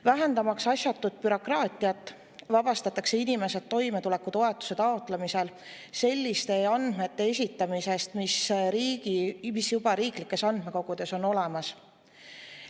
Vähendamaks asjatut bürokraatiat, vabastatakse inimesed toimetulekutoetuse taotlemisel selliste andmete esitamisest, mis on juba riiklikes andmekogudes olemas.